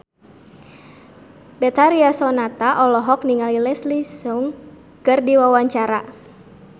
Betharia Sonata olohok ningali Leslie Cheung keur diwawancara